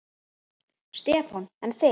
Stefán: En þig?